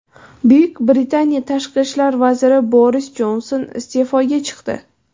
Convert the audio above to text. Buyuk Britaniya tashqi ishlar vaziri Boris Jonson iste’foga chiqdi.